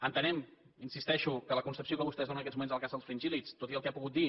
entenem hi insisteixo que la concepció que vostès donen en aquests moments a la caça dels fringíl·lids tot i el que ha pogut dir